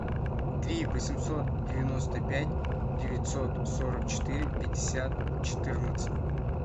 три восемьсот девяносто пять девятьсот сорок четыре пятьдесят четырнадцать